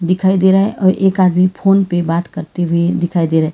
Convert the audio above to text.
दिखाई दे रहा है और एक आदमी फोन पे बात करते हुए दिखाई दे रहा।